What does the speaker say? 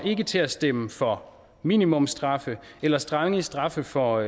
til at stemme for minimumsstraffe eller strengere straffe for